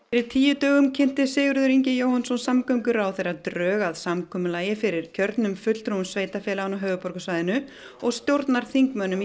tíu dögum kynnti Sigurður Ingi Jóhannsson samgönguráðherra drög að samkomulagi fyrir kjörnum fulltrúum sveitarfélaganna á höfuðborgarsvæðinu og stjórnarþingmönnum í